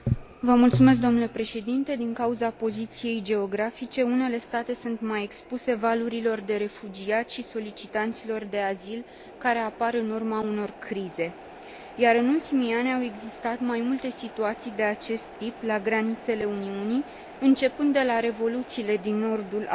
Din cauza poziției geografice, unele state sunt mai expuse valurilor de refugiați și solicitanților de azil care apar în urma unor crize, iar, în ultimii ani, au existat mai multe situații de acest tip la granițele Uniunii, începând de la revoluțiile din nordul Africii și până